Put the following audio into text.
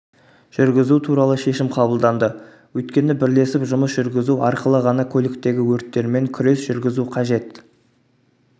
жүргізу туралы шешім қабылданды өйткені бірлесіп жұмыс жүргізу арқылы ғана көліктегі өрттермен күрес жүргізу қажет